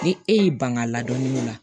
Ni e y'i ban ka ladɔnniw la